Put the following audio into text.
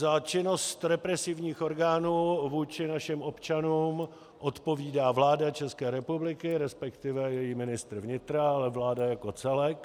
Za činnost represivních orgánů vůči našim občanům odpovídá vláda České republiky, respektive její ministr vnitra, ale vláda jako celek.